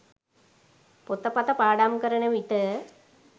පොතපත පාඩම් කරන විට